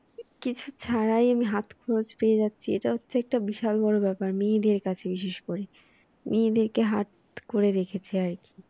কিছু ছাড়াই হাত খরচ পেয়ে যাচ্ছে এটা একটা বিশাল বড় ব্যাপার মেয়েদের কাছে বিশেষ করে মেয়েদেরকে হাত করে রেখেছে আর কি